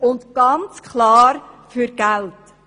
dies ganz klar für Geld.